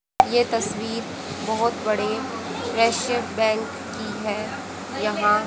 ये तस्वीर बहोत बड़े रशियन बैंक की है यहां--